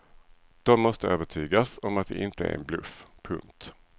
De måste övertygas om att det inte är en bluff. punkt